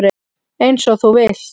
Eins og þú vilt.